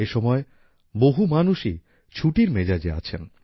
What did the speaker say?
এ সময় বহু মানুষই ছুটির মেজাজে আছেন